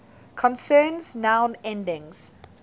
concerns noun endings